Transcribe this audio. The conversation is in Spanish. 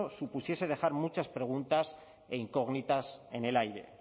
supusiese dejar muchas preguntas e incógnitas en el aire